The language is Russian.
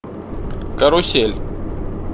карусель